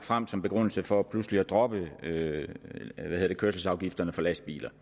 frem som begrundelse for pludselig at droppe kørselsafgifterne for lastbiler